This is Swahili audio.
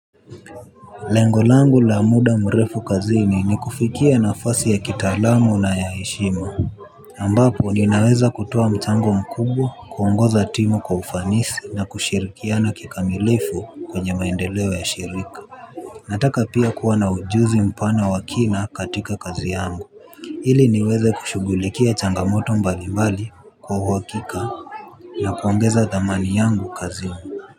Lengo langu la muda mrefu kazini ni kufikia nafasi ya kitaalamu na ya heshima ambapo ninaweza kutoa mchango mkubwa, kuongoza timu kwa ufanisi na kushirikiana kikamilifu kwenye maendeleo ya shirika. Nataka pia kuwa na ujuzi mpana wa kina katika kazi yangu. Ili niweze kushugulikia changamoto mbali mbali, kwa uhakika. Na kuongeza thamani yangu kazini.